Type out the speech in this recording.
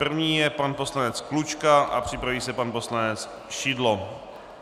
První je pan poslanec Klučka a připraví se pan poslanec Šidlo.